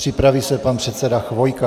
Připraví se pan předseda Chvojka.